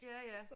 Ja ja